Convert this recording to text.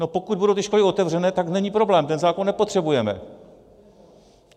No pokud budou ty školy otevřené, tak není problém, ten zákon nepotřebujeme.